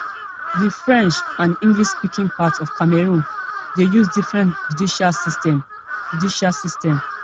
di french and englishspeaking parts of cameroon dey use different judicial systems judicial systems